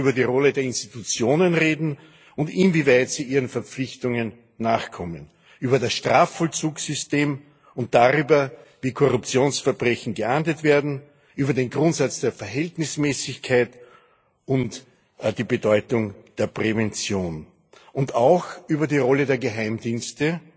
Wir müssen über die Rolle der Institutionen reden und darüber, inwieweit sie ihren Verpflichtungen nachkommen, über das Strafvollzugssystem und darüber, wie Korruptionsverbrechen geahndet werden, über den Grundsatz der Verhältnismäßigkeit und die Bedeutung der Prävention und auch über die Rolle der Geheimdienste